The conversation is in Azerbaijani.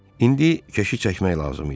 İndi keşi çəkmək lazım idi.